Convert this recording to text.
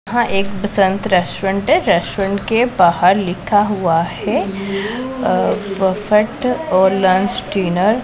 यहां एक बसंत रेस्टोरेंट है रेस्टोरेंट के बाहर लिखा हुआ है अह बफेट और लंच डिनर ।